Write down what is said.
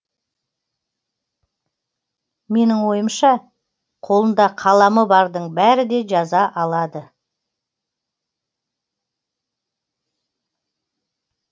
менің ойымша қолында қаламы бардың бәрі де жаза алады